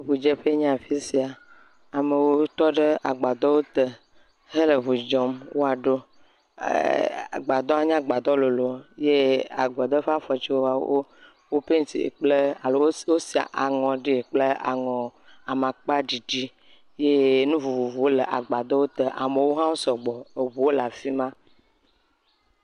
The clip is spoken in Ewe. Ŋudzeƒe nye afi sia, amewo tɔ ɖe agbadɔwo te hele ŋu dzɔm woaɖo. Agbadɔa nye agbadɔ lolo eye agbadɔa ƒe afɔtiwo tsɛ, wo pentie alo wosi aŋɔ ɖe kple aŋɔ amakpaɖiɖi, ye nu vovovowo le agbadɔ te, amewo hã wo sɔgbɔ. Eŋuwo le afi ma.